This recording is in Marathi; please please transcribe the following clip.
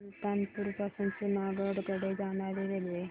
सुल्तानपुर पासून जुनागढ कडे जाणारी रेल्वे